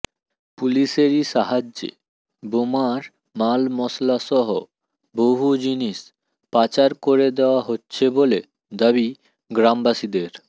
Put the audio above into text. পুলিসেরই সাহায্যে বোমার মালমশলা সহ বহু জিনিস পাচার করে দেওয়া হচ্ছে বলে দাবি গ্রামবাসীদের